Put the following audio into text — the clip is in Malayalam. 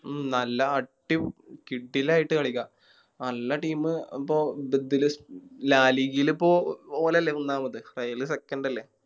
ഉം നല്ല അടി കിടിലായിട്ട് കളിക്കാം നല്ല Team ഇപ്പൊ ഇപ്പൊ ഓലല്ലേ മൂന്നാമത് ഫയല Second അല്ലെ